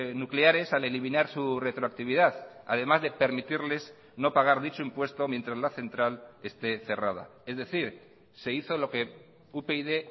nucleares al eliminar su retroactividad además de permitirles no pagar dicho impuesto mientras la central esté cerrada es decir se hizo lo que upyd